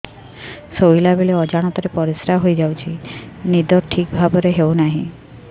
ଶୋଇଲା ବେଳେ ଅଜାଣତରେ ପରିସ୍ରା ହୋଇଯାଉଛି ନିଦ ଠିକ ଭାବରେ ହେଉ ନାହିଁ